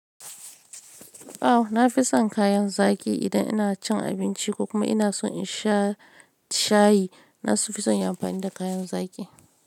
Au, na fi son kayan zaki idan ina cin abinci ko kuma ina so in sha shayi. Nafi son in yi amfani da kayan zaki.